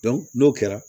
n'o kɛra